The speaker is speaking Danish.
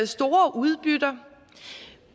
store udbytter